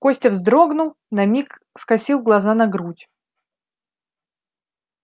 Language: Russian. костя вздрогнул на миг скосил глаза на грудь